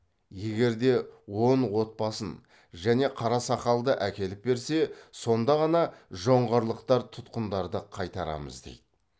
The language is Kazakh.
егер де он отбасын және қарасақалды әкеліп берсе сонда ғана жоңғарлықтар тұтқындарды қайтарамыз дейді